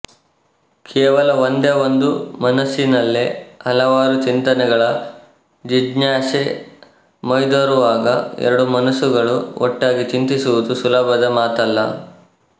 ಕೇವಲ ಒಂದೇ ಒಂದು ಮನಸಿನಲ್ಲೆ ಹಲವಾರು ಚಿಂತನೆಗಳ ಜಿಜ್ಞಾಸೆ ಮೈದೋರುವಾಗ ಎರಡು ಮನಸುಗಳು ಒಟ್ಟಾಗಿ ಚಿಂತಿಸುವುದು ಸುಲಭದ ಮಾತಲ್ಲ